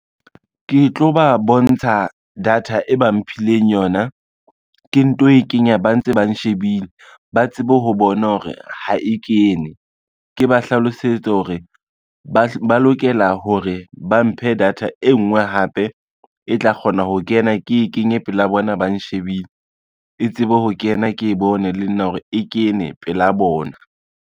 Ke tlo ba bontsha data e ba mphileng yona ke nto e kenya ba ntse ba nshebile, ba tsebe ho bona hore ha e kene, ke ba hlalosetse hore ba lokela hore ba mphe data e ngwe hape e tla kgona ho kena. Ke kenye pela bona, ba nshebile e tsebe ho kena ke bone le nna hore e kene pela bona.